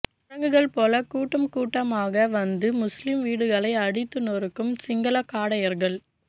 குரங்குகள் போல கூட்டம் கூட்டமாக வந்து முஸ்லீம் வீடுகளை அடித்து நொருக்கும் சிங்கள காடையர்கள்